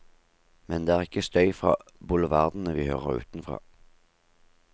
Men det er ikke støy fra boulevardene vi hører utenfra.